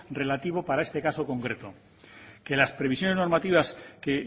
relativo para este caso concreto que las previsiones normativas que